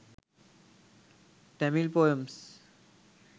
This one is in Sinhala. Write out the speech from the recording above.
tamil poems